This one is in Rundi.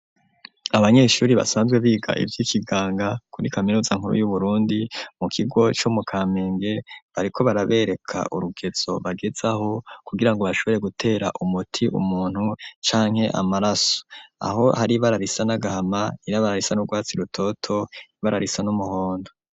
Abanyeshuri basanzwe biga ivyikiganga kuri kaminuza nkuru yu Burundi mu kigo co mu Kamenge bariko barabereka urugezo bagezaho kugira ngo bashobore gutera umuti umuntu canke amaraso aho hari ibara risa n'agahama, ibara risa n'urwatsi rutoto, ibara risa n'umuhondo.